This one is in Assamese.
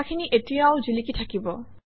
কথাখিনি এতিয়াও জিলিকি থাকিব